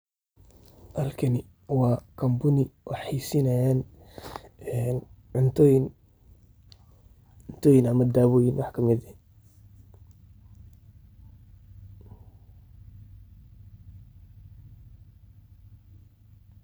Halkani waa Company wax hayeysinayan cuntuyin ama dawoyin wax ka mid ah.